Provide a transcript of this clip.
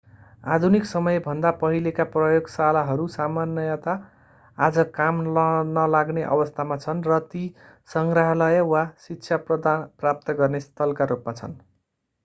आधुनिक समयभन्दा पहिलेका प्रयोगशालाहरू सामान्यतया आज काम नलाग्ने अवस्थामा छन् र ती सङ्ग्रहालय वा शिक्षा प्राप्त गर्ने स्थलका रूपमा छन्